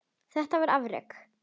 Þetta var afrek.